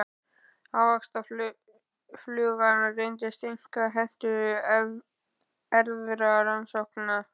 Ávaxtaflugan reyndist einkar hentug til erfðarannsókna.